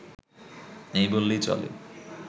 নেই বললেই চলে